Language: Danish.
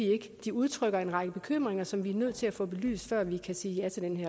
de udtrykker en række bekymringer som vi er nødt til at få belyst før vi kan sige ja til